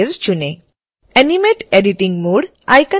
animate editing mode icon को on करें